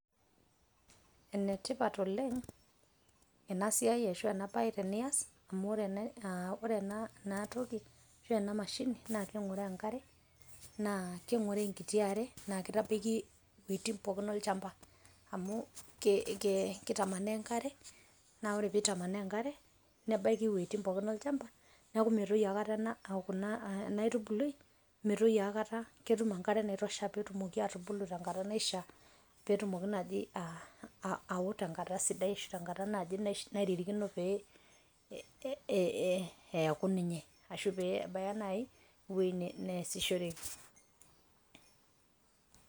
Ene tipat oleng ena siai ashu ena bae tenias amu ore ene ore ena toki ore ena mashini naa kengoroo enkare naa kengoroo enkiti are naa kitabaiki iwuetin pookin olchamba amu ke kitamanaa enkare naa ore pitamanaa enkare nebaiki iwuetin pookin olchamba neaku motoyu aikata kuna ena aitubului ,metoyu aikata ketum enkare naitosha etumoki atubulu tenkata naishiaa ,petumoki naji ao tenkata sidai ashu naji tenkata nairirikino pe aku ninye ashu pebaya nai ewuei neasishoreki.